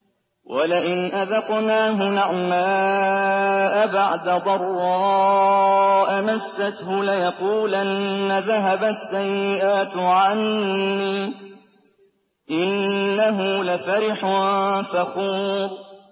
وَلَئِنْ أَذَقْنَاهُ نَعْمَاءَ بَعْدَ ضَرَّاءَ مَسَّتْهُ لَيَقُولَنَّ ذَهَبَ السَّيِّئَاتُ عَنِّي ۚ إِنَّهُ لَفَرِحٌ فَخُورٌ